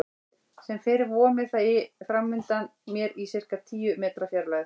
Sem fyrr vomir það framundan mér í sirka tíu metra fjarlægð.